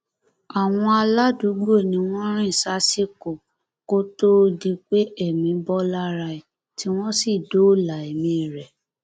àwọn aládùúgbò ni wọn rìn sásìkò kó tóó di pé ẹmí bọ lára ẹ tí wọn sì dóòlà ẹmí rẹ